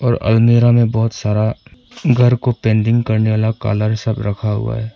और अलमीरा में बहोत सारा घर को पेंटिंग करने वाला कलर सब रखा हुआ है।